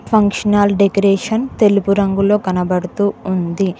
Function hall decoration తెలుపు రంగులో కనబడుతూ ఉంది.